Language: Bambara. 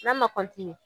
N'a ma